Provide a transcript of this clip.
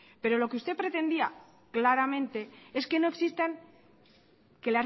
pero lo que usted pretendía claramente es que no existan que